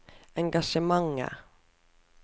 engasjementer